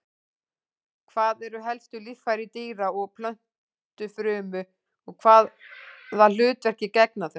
Hver eru helstu líffæri dýra- og plöntufrumu og hvaða hlutverki gegna þau?